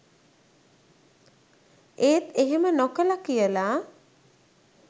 ඒත් එහෙම නොකල කියල